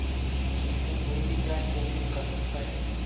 जिसमें कोई भी ध्यान केंद्रित कर सकता है